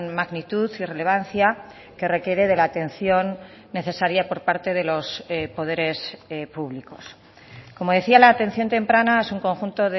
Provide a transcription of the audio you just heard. magnitud y relevancia que requiere de la atención necesaria por parte de los poderes públicos como decía la atención temprana es un conjunto